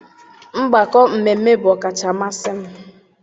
Mgbakọ mmemme bụ ọkacha mmasị m.